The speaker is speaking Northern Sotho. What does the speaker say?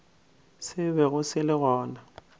se bego se le gona